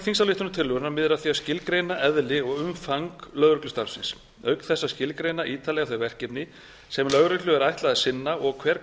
þingsályktunartillögunnar miðar að því að skilgreina eðli og umfang lögreglustarfsins auk þess að skilgreina ítarlega þau verkefni sem lögreglu er ætlað að sinna og hver